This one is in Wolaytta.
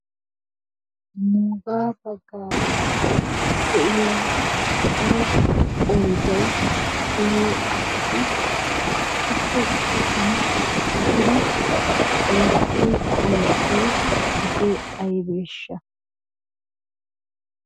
Nuuga baggaara de'iyaa daro qoydday diyo asati issippe citan uttidi oottiyo oosoy hege aybbeshsha?